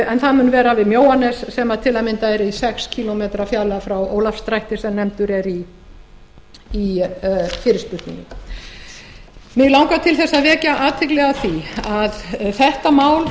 en það mun vera við mjóanes sem til að mynda er í sex kílómetra fjarlægð frá ólafsdrætti sem nefndur er í fyrirspurninni mig langar til þess að vekja athygli á því að þetta mál